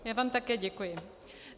Já vám také děkuji.